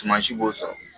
Tuma si b'o sɔrɔ